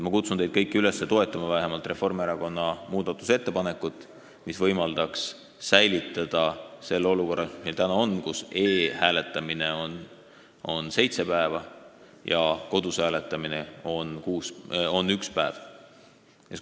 Ma kutsun teid kõiki üles toetama vähemalt Reformierakonna muudatusettepanekut, mis võimaldaks säilitada selle olukorra, mis täna on, kus e-hääletamine kestab seitse päeva ja kodus hääletamine ühe päeva.